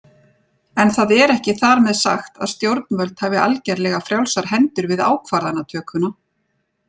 En það er ekki þar með sagt að stjórnvöld hafi algerlega frjálsar hendur við ákvarðanatökuna.